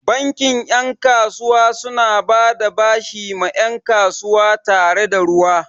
Bankin 'yan kasuwa suna bada bashi ma 'yan kasuwa tare da ruwa.